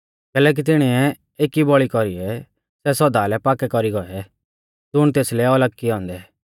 कैलैकि तिणीऐ एकी बौल़ी कौरीऐ सै सौदा लै पाक्कै कौरी गौऐ ज़ुण तेसलै अलग ई किऐ औन्दै